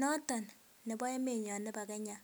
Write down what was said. noton nebo emenyon nebo Kenya.